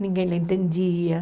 Ninguém entendia.